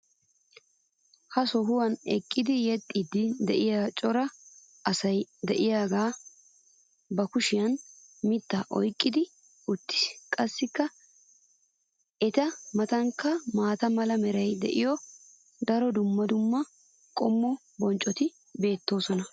ha sohuwan eqqidi yexxiidi de'iya cora asay diyaagee ba kushiyan mitaa oyqqi uttis. qassi eta matankka maata mala meray de'iyo daro dumma dumma qommo bonccoti beetoosona.